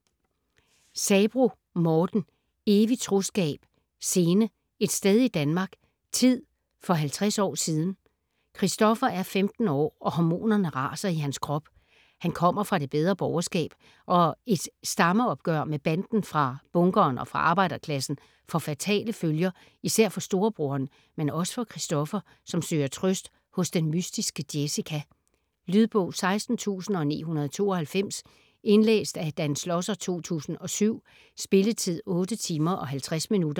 Sabroe, Morten: Evig troskab: scene: et sted i Danmark: tid: for halvtreds år siden Christoffer er 15 år, og hormonerne raser i hans krop. Han kommer fra det bedre borgerskab, og et stammeopgør med banden fra bunkeren og fra arbejderklassen får fatale følger, især for storebroderen, men også for Christoffer, som søger trøst hos den mystiske Jessica. Lydbog 16992 Indlæst af Dan Schlosser, 2007. Spilletid: 8 timer, 50 minutter.